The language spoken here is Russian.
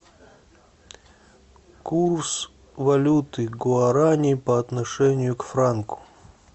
курс валюты гуарани по отношению к франку